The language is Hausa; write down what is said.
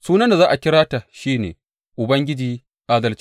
Sunan da za a kira ta shi ne, Ubangiji Adalcinmu.’